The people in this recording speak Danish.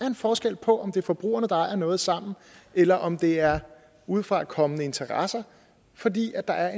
en forskel på om det er forbrugerne der ejer noget sammen eller om det er udefrakommende interesser fordi der er